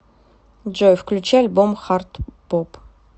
джой включи альбом хард боп